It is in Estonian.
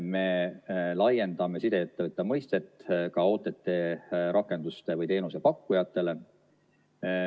Me laiendame sideettevõtja mõistet ka OTT-rakenduste või -teenuse pakkujatele.